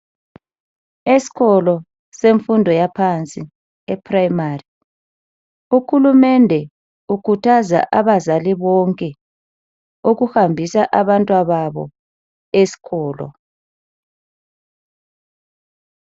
Esikolo semfundo yaphansi, ephrayimari, uhulumende ukhuthaza abazali bonke ukuhambisa abantwababo esikolo.